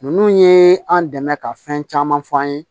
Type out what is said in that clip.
Ninnu ye an dɛmɛ ka fɛn caman fɔ an ye